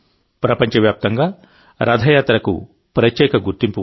ప్రపంచ వ్యాప్తంగా రథయాత్రకు ప్రత్యేక గుర్తింపు ఉంది